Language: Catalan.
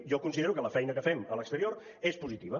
jo considero que la feina que fem a l’exterior és positiva